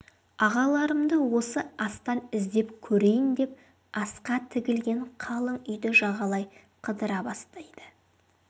ағаларымды осы астан іздеп көрейін деп асқа тігілген қалың үйді жағалай қыдыра бастайды